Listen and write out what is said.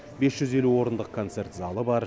бес жүз елу орындық концерт залы бар